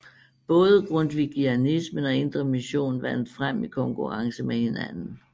Både grundvigianismen og Indre Mission vandt frem i konkurrence med hinanden